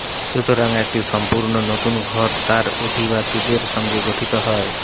সুতরাং একটি সম্পূর্ণ নতুন ঘর তার অধিবাসীদের সঙ্গে গঠিত হয়